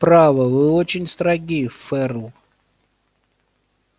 право вы очень строги ферл